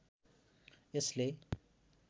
यसले